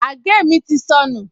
Àgé mi ti sọnù